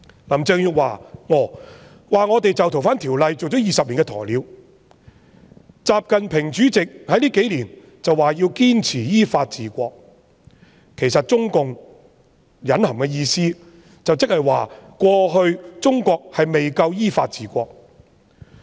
林鄭月娥說我們就《逃犯條例》做了20年"鴕鳥"，主席習近平近數年則說要堅持依法治國，其實中共隱含的意思即是過去中國未夠依法治國。